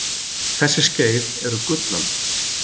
þessi skeið eru gullöld